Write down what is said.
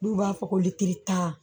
N'u b'a fɔ ko litiri tan